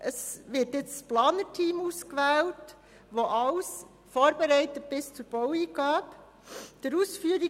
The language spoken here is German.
Es wird zurzeit das Planerteam ausgewählt, das alles bis zur Baueingabe vorbereiten soll.